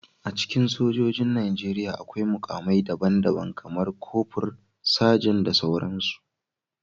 A cikin sojojin Najeriya, akwai mukamai daban-daban, kamar kofur, Sajan, da sauransu